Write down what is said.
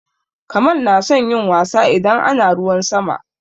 Kamal na son yin wasa idan ana ruwan sama.